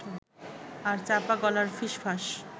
আর চাপা গলার ফিসফাস